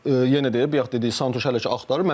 Yəni yenə deyək bayaq dediyi Santuş hələ ki axtarır.